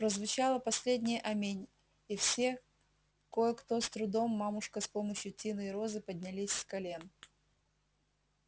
прозвучало последнее аминь и все кое-кто с трудом мамушка с помощью тины и розы поднялись с колен